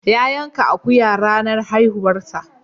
Ya yanka akuya ranar haihuwarsa.